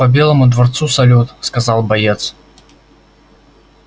по белому дворцу салют сказал боец